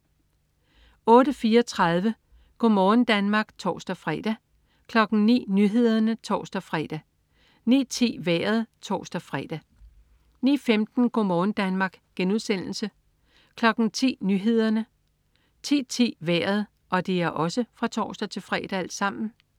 08.34 Go' morgen Danmark (tors-fre) 09.00 Nyhederne (tors-fre) 09.10 Vejret (tors-fre) 09.15 Go' morgen Danmark* (tors-fre) 10.00 Nyhederne (tors-fre) 10.10 Vejret (tors-fre)